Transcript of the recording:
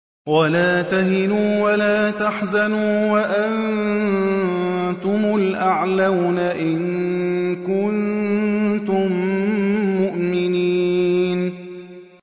وَلَا تَهِنُوا وَلَا تَحْزَنُوا وَأَنتُمُ الْأَعْلَوْنَ إِن كُنتُم مُّؤْمِنِينَ